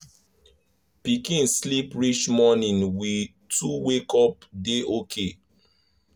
pikin sleep reach morning we two wake up dey okay